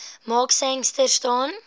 mark sangster staan